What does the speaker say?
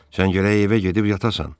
Sən gərək evə gedib yatasan.